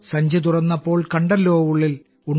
സഞ്ചി തുറന്നപ്പോൾ കണ്ടല്ലോ ഉള്ളിൽ